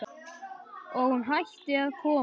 Og hún hætti að koma.